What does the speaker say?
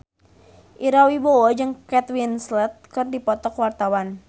Ira Wibowo jeung Kate Winslet keur dipoto ku wartawan